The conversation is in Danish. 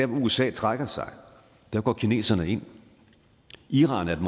usa trækker sig går kineserne ind iran er